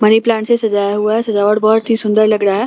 Money plant से सजाया हुआ है सजावट बहुत ही सुंदर लग रहा है।